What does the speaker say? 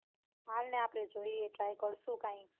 હાલને આપડે જોઈએ try કરશુ કઈંક.